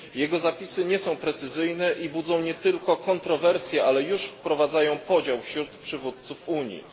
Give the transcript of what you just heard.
Jego zapisy nie są precyzyjne i budzą nie tylko kontrowersje, ale już wprowadzają podział wśród przywódców Unii.